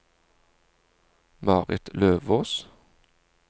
Marit Løvås